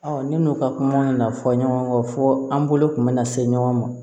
ne n'u ka kuma na fɔ ɲɔgɔn kɔ fɔ an bolo kun bɛ na se ɲɔgɔn ma